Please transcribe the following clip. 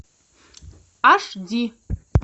аш ди